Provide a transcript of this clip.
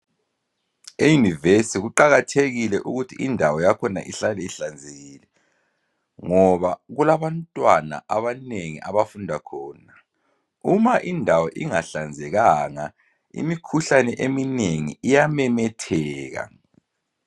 E yunivesi kuqakathekile ukuthi indawo yakhona ihlale ihlanzekile ngoba kulabantwana abanengi abafunda khona uma indawo ingahlanzekanga imikhuhlane eminengi iyamemetheka